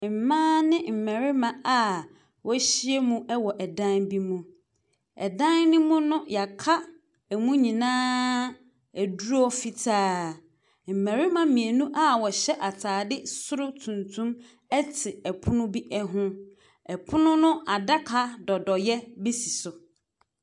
Mmaa ne mmarima a wɔahyiam wɔ dan bi mu. Ɛdan no mu no, wɔaka mu nyinaa aduro fitaa. Mmarima mmienu a wɔhyɛ atade soro tuntum te pono bi ho. Pono no adaka dɔdɔeɛ bi si so.